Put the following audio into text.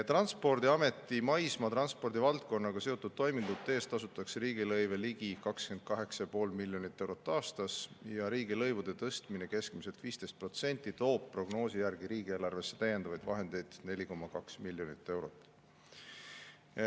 Transpordiameti maismaa transpordi valdkonnaga seotud toimingute eest tasutakse riigilõive ligi 28,5 miljonit eurot aastas ja riigilõivude tõstmine keskmiselt 15% toob prognoosi järgi riigieelarvesse lisavahendeid 4,2 miljonit eurot.